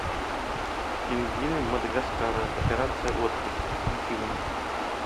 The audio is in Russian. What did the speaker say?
пингвины мадагаскара операция отпуск включи мне